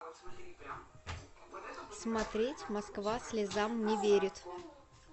смотреть москва слезам не верит